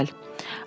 “Bir az əvvəl”.